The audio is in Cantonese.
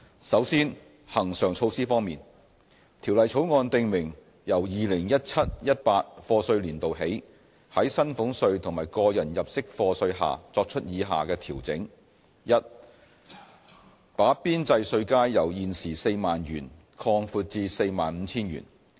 首先，恆常措施方面，條例草案訂明由 2017-2018 課稅年度起，在薪俸稅和個人入息課稅下作出以下調整： a 把邊際稅階由現時 40,000 元擴闊至 45,000 元。